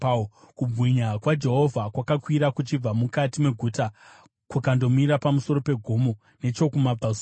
Kubwinya kwaJehovha kwakakwira kuchibva mukati meguta kukandomira pamusoro pegomo nechokumabvazuva kwaro.